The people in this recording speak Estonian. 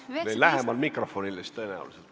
Või lähemal mikrofonile!